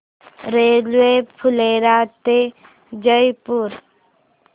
railway Phulera ते जयपूर